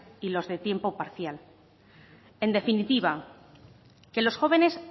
y los de tiempo parcial en definitiva que los jóvenes